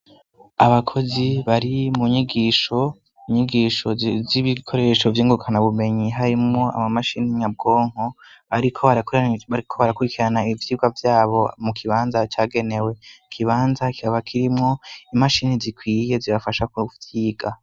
Abakozi bari mu nyigisho munyigisho z'ibikoresho vy'ingukana bumenyi harimwo amamashini imyabwonko, ariko, ariko barakurikirana ivyirwa vyabo mu kibanza cagenewe ikibanza kaba kirimwo imashini zikwiye zibafasha kuvyiga.